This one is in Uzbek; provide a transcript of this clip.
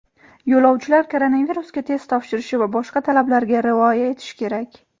Yo‘lovchilar koronavirusga test topshirishi va boshqa talablarga rioya etishi kerak.